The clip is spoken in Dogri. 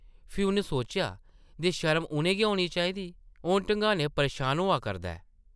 फ्ही उन्न सोचेआ जे शर्म उʼनें गी होनी चाहिदी, ओह् धङानें परेशान होआ करदा ऐ ।